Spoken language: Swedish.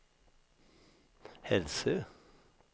Hälsö